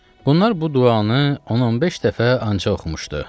Bunlar bu duanı 10-15 dəfə ancaq oxumuşdu.